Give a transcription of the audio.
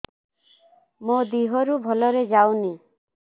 ମୋ ଦିହରୁ ଭଲରେ ଯାଉନି